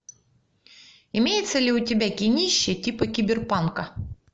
имеется ли у тебя кинище типа киберпанка